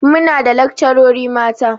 Muna da lakcarori mata.